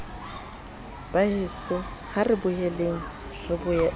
baheso ha re boeleng re